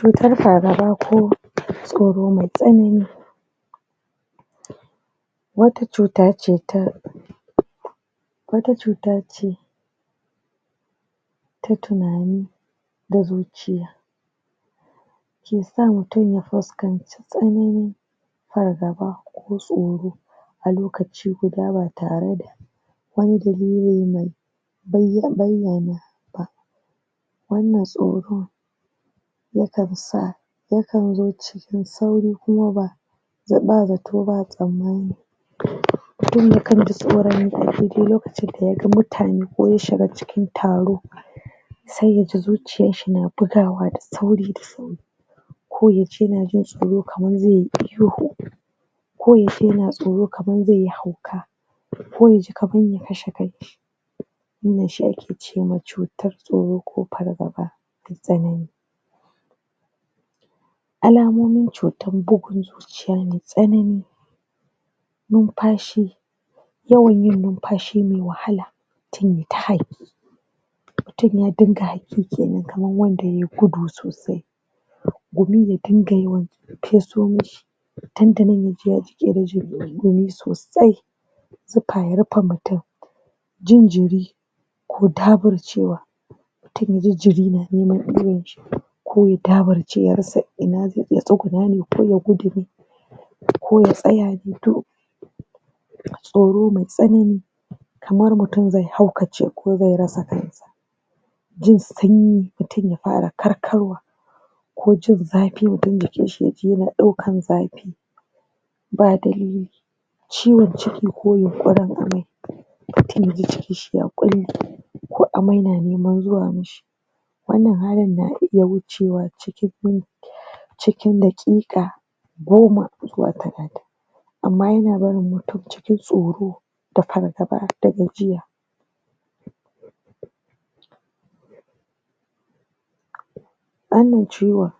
Cutar fargaba ko tsaoro mai tsanani wata cuta ce ta ta tunani da zuciya ke sa mutum ya fuskanci tsananin fargaba ko tsoro a lokaci guda ba tare da wannan tsoron yakan zo cikin sauri kuma ba ba zato ba tsammani mutum yakan ji tsoron mutane ko ya shiga cikin taro sai ya ji zuciyan shi na bugawa da sauri da sauri ko ya dinga jin tsoro kamar zaiyi ihu ko ya yace tsoro kamar zaiyi hauka ko ya ji kaman zai pashe kanshi wannan she ake cewa cutan tsoro ko pargaba na tsanani alamomin cutar bugun zuciya mai tsanani numpashi, yawan yin numpashi mai wahala mutum ya dinga kenan kaman wanda ya yi gudu sosai dandanan ya ji ya jiƙe da ɗumi sosai zupa ya rupe mutum, jin jiri ko daburcewa ko ya daburce ya rasa ina zai iya tsugunna ya ko ya tsaya ya bi tsoro mai tsanani kaman mutum zai haukace ko zai rasa kansa jin sanyi mutum ya para karkarwa ko jin zapi ya dinga ƙishi kan zapi ba dalili ciwon ciki ko yunƙurin amai, mutum ya ji cikin shi ya ƙulle ko amai na niman zuwa mishi wannan halin na iya wucewa cikin daƙiƙa goma zuwa talatin amma yana yana barin mutun cikin tsoro da fargaba da gajiya wannan ciwon